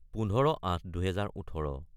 : 15-08-2018